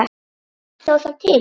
Stóð það til?